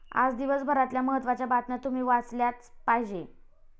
आज दिवसभरातल्या महत्त्वाच्या बातम्या तुम्ही वाचल्याच पाहिजेत